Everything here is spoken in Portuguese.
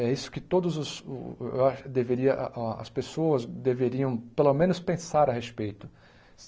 É isso que todos os o a deveria a as pessoas deveriam, pelo menos, pensar a respeito.